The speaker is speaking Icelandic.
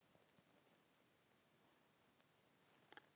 Enn fremur nota flestir einhvers konar forritunarumhverfi til að aðstoða sig.